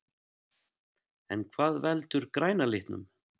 En hvað veldur græna litnum?